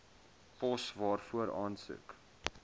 pos waarvoor aansoek